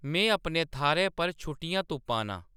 में अपने थाह्‌रै पर छुट्टियां तुप्पा नां